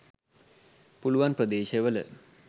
පුලුවන් ප්‍රදේශවල